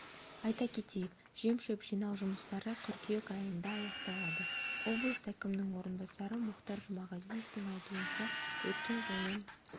айта кетейік жем-шөп жинау жұмыстары қыркүйек айында аяқталады облыс әкімінің орынбасары мұхтар жұмағазиевтің айтуынша өткен жылмен